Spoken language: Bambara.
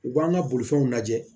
U b'an ka bolifɛnw lajɛ